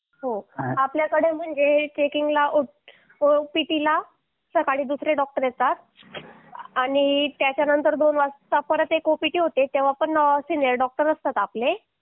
हो आपल्याकडे म्हणजे हे चेकिंग ला ओपीडीला सकाळी दुसरे डॉक्टर येतात आणि त्याच्यानंतर दोन वाजता परत एक ओपीडी होते तेव्हा पण सिनिअर डॉक्टर असतात आपल्याकडे